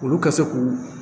Olu ka se k'u